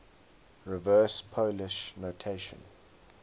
reverse polish notation